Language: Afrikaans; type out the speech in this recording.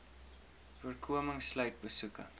voorkoming sluit besoeke